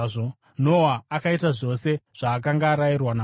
Noa akaita zvose sezvaakanga arayirwa naMwari.